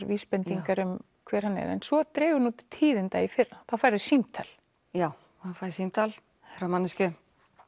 vísbendingar um hver hann er en svo dregur nú til tíðinda í fyrra þá færðu símtal já ég fæ símtal frá manneskju